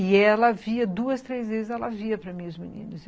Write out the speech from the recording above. E ela via duas, três vezes, ela via para mim e os meninos.